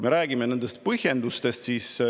Räägime nendest põhjendustest.